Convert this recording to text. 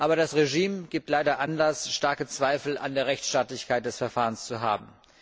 Aber das Regime gibt leider Anlass, starke Zweifel an der Rechtsstaatlichkeit des Verfahrens zu haben.